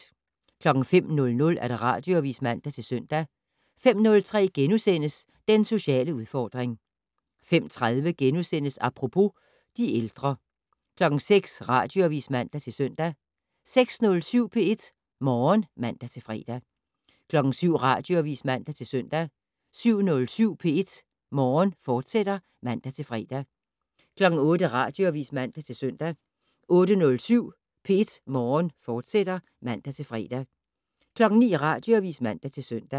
05:00: Radioavis (man-søn) 05:03: Den sociale udfordring * 05:30: Apropos - de ældre * 06:00: Radioavis (man-søn) 06:07: P1 Morgen (man-fre) 07:00: Radioavis (man-søn) 07:07: P1 Morgen, fortsat (man-fre) 08:00: Radioavis (man-søn) 08:07: P1 Morgen, fortsat (man-fre) 09:00: Radioavis (man-søn)